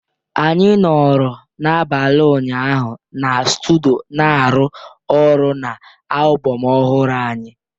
Anyị nọrọ n'abalị ụnyaahụ na studio na-arụ ọrụ na album ọhụrụ anyị